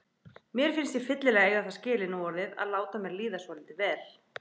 Mér finnst ég fyllilega eiga það skilið núorðið að láta mér líða svolítið vel.